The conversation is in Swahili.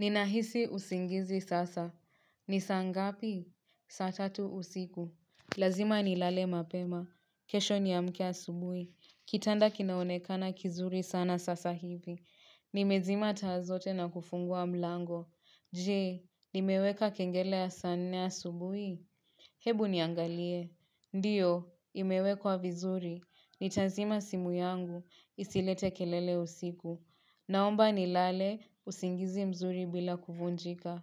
Ninahisi usingizi sasa. Ni saa ngapi? Saa tatu usiku. Lazima nilale mapema. Kesho ni amke asubuhi. Kitanda kinaonekana kizuri sana sasa hivi. Nimezima taa zote na kufungua mlango. Jee, nimeweka kengele ya saa nne asubuhi? Hebu niangalie. Ndiyo, imewekwa vizuri. Nitazima simu yangu. Isilete kelele usiku. Naomba nilale, usingizi mzuri bila kuvunjika.